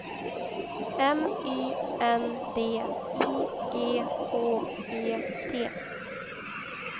M Y N D I G H E T